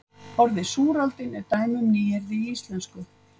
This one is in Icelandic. Orðið súraldin er dæmi um nýyrði í íslensku.